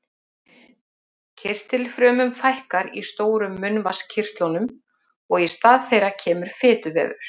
Kirtilfrumum fækkar í stóru munnvatnskirtlunum og í stað þeirra kemur fituvefur.